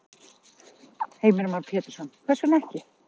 Heimir Már Pétursson: Hvers vegna ekki?